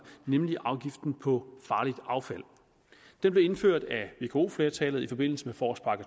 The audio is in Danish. nemlig afgiften på farligt affald den blev indført af vko flertallet i forbindelse med forårspakke